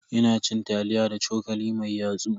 Ina cin taliya da cokali mai yatsu.